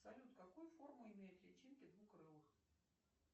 салют какую форму имеют личинки двукрылых